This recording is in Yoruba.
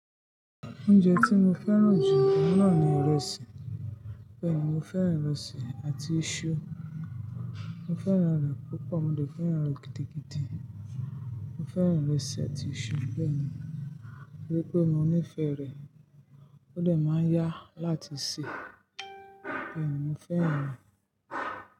Oúnjẹ tí mo fẹ́ràn jù ọ̀un nàa ni ìrẹsì. Bẹ́ẹ̀ ni, mo fẹ́ràn ìrẹsì àti iṣu. Mo fẹ́ràn re púpọ̀, mo dè fẹ́ràn re gidigidi. Mo fẹ́ràn ìrẹsì àti iṣu bẹ́ẹ̀ ni, tori pé mo nífẹ̀ẹ́ rẹ̀. Ó de máa ń yá láti sè, bẹ́ẹ̀ ni mo fẹ́ràn rẹ̀.